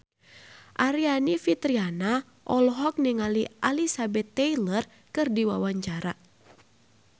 Aryani Fitriana olohok ningali Elizabeth Taylor keur diwawancara